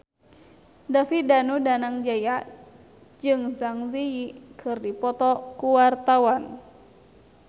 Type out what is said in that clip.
David Danu Danangjaya jeung Zang Zi Yi keur dipoto ku wartawan